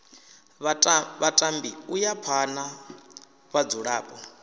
vhatambi u ya phana vhadzulapo